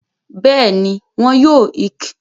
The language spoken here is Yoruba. Bẹ́ẹ̀ni, wọn yóò ìk